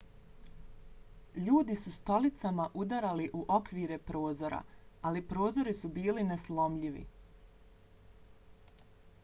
ljudi su stolicama udarali u okvire prozora ali prozori su bili neslomljivi